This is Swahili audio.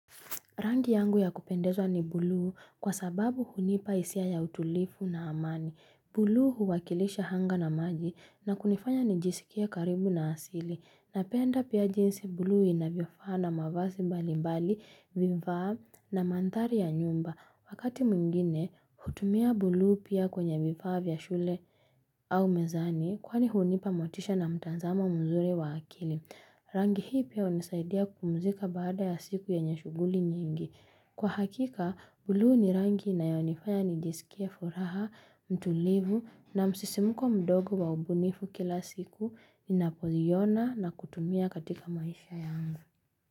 Rangi yangu ya kupendezwa ni bluu kwa sababu hunipa hisia ya utulifu na amani bluu huwakilisha anga na maji na kunifanya nijisikia karibu na asili na penda pia jinsi bluu inavyo faa na mavazi mbali mbali vivaa na manthari ya nyumba wakati mwingine hutumia bluu pia kwenye vifaa vya shule au mezani, kwani hunipa motisha na mtazamo mzuri wa akili. Rangi hii pia unisaidia kupumzika baada ya siku yenye shughuli nyingi. Kwa hakika, bluu ni rangi ina yonifanya nijisikie furaha, mtulivu na msisimuko mdogo wa ubunifu kila siku, ninapoiona na kutumia katika maisha yangu.